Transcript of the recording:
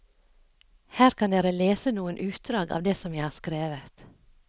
Her kan dere lese noen utdrag av det som jeg har skrevet.